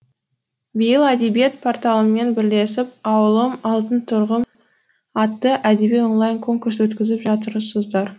биыл әдебиет порталымен бірлесіп ауылым алтын тұғырым атты әдеби онлайн конкурс өткізіп жатырсыздар